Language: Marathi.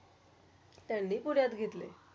त्यांनी पुऱ्यात घेतले.